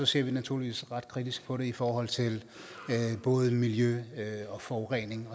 ser vi naturligvis ret kritisk på det i forhold til både miljø og forurening